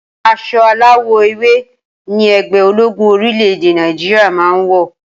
As̩o aláwò̩ ewé ni e̩gbé̩ ológún orílè̩-èdè Nàìjíríà máa ń wò̩